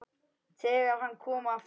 ÞEGAR HANN KOM AFTUR